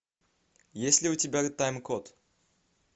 есть ли у тебя тайм код